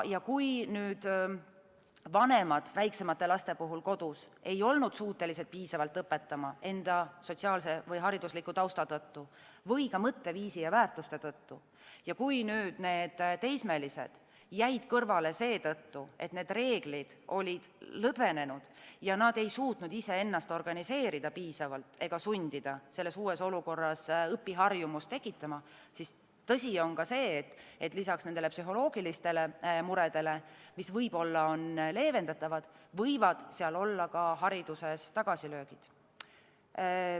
Kui vanemad väiksemate laste puhul kodus ei olnud suutelised piisavalt õpetama enda sotsiaalse või haridusliku tausta tõttu või ka mõtteviisi ja väärtuste tõttu, ning kui teismelised jäid kõrvale seetõttu, et reeglid olid lõdvenenud ja nad ei suutnud iseennast piisavalt organiseerida ega sundida uues olukorras õpiharjumust tekitama, siis tõsi on see, et lisaks psühholoogilistele muredele, mis võib-olla on leevendatavad, võivad olla tagasilöögid ka hariduses.